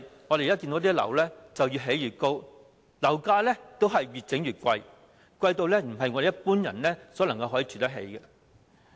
我們看到現時的樓宇越建越高，樓價亦越來越昂貴，昂貴到不是一般人可以負擔得起。